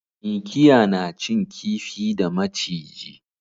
Mikiya na cin kifi da maciji